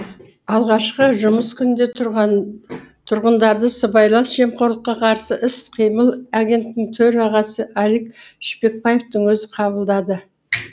алғашқы жұмыс күнінде тұрғындарды сыбайлас жемқорлыққа қарсы іс қимыл агенттігінің төрағасы алик шпекбаевтың өзі қабылдады